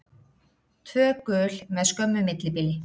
Tvö gul með skömmu millibili.